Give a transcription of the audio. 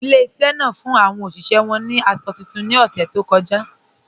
Ilẹ̀-ìṣẹ̀ náà fún awọn oṣiṣẹ̀ wọn ni àṣọ tuntun ni ọṣẹ̀ tó kọja